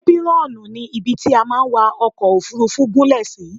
Épírọ́ọ̀nù ni ibi tí a máa ń wa ọkọ̀-òfurufú gúnlẹ̀ sí.